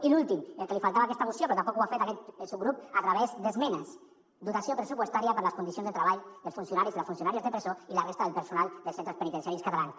i l’últim el que li faltava a aquesta moció però tampoc ho ha fet aquest subgrup a través d’esmenes dotació pressupostària per a les condicions de treball dels funcionaris i les funcionàries de presó i la resta del personal de centres penitenciaris catalans